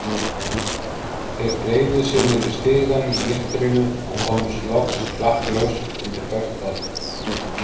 Þeir þreifuðu sig niður stigann í myrkrinu og komust loks klakklaust undir bert loft.